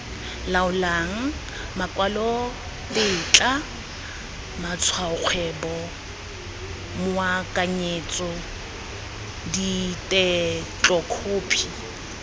laolang makwalotetla matshwaokgwebo moakanyetso ditetlokhophi